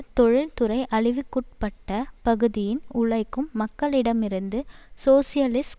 தொழில்துறை அழிவுக்குட்பட்ட பகுதியின் உழைக்கும் மக்களிடமிருந்து சோசியலிஸ்ட்